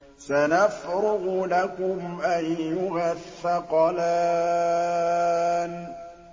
سَنَفْرُغُ لَكُمْ أَيُّهَ الثَّقَلَانِ